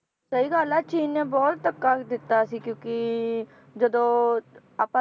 ਸਹੀ ਗੱਲ ਏ ਚੀਨ ਨੇ ਬਹੁਤ ਧੱਕਾ ਦਿੱਤਾ ਸੀ ਕਿਉਕਿ ਜਦੋਂ ਆਪਾਂ